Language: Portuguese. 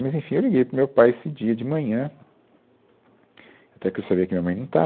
Mas, enfim, eu liguei para o meu pai esse dia de manhã, até que eu sabia que a minha mãe não estava.